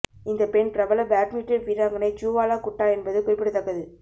இந்த பெண் பிரபல பேட்மிண்டன் வீராங்கனை ஜூவாலா குட்டா என்பது குறிப்பிடத்தக்கது